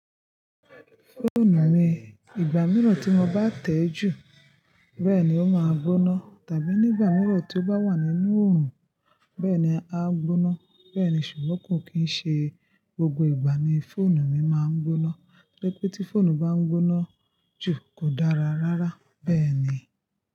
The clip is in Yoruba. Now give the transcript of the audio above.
Fóònù mi, ìgbà mìíràn tí mo bá tẹ̀ẹ́ jù, bẹ́ẹ̀ ni ó máa gbóná tàbí nígbà mìíràn tí ó bá wà nínú oòrùn bẹ́ẹ̀ ni á gbóná. Bẹ́ẹ̀ ni, ṣùgbọ́n kò kí ń ṣe gbogbo ìgbà ni fóònù mi máa ń gbóná. Tori pé tí fóònù bá ń gbóná jù kò dára rárá. Bẹ́ẹ̀ ni.